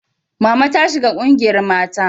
Mama ta shiga ƙungiyar mata